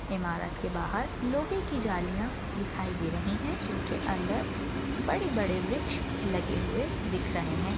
इमारत के बाहर लोहे की जालियां दिखाई दे रही है जिनके अंदर बड़े बड़े वृक्ष लगे हुए दिख रहे है।